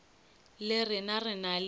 le rena re na le